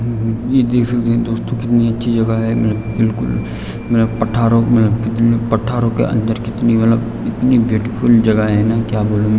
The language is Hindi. ये देख सकते हैं दोस्तों कितनी अच्छी जगह है बिलकुल पठारों में कितने पठारों के अन्दर कितनी मतलब इतनी ब्यूटीफुल जगह है ना क्या बोले --